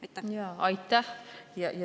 Aitäh!